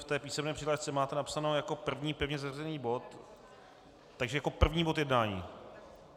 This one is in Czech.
V té písemné přihlášce máte napsáno jako první pevně zařazený bod, takže jako první bod jednání?